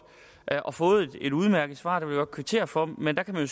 jeg har fået et udmærket svar og det vil jeg godt kvittere for men der kan man